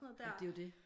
Jamen det er jo det